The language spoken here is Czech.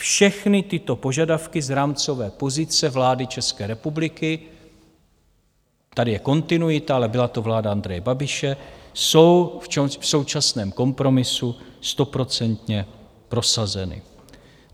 Všechny tyto požadavky z rámcové pozice vlády České republiky - tady je kontinuita, ale byla to vláda Andreje Babiše - jsou v současném kompromisu stoprocentně prosazeny.